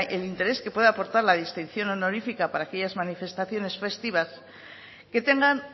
el interés que pueda aportar la distinción honorífica para aquellas manifestaciones festivas que tengan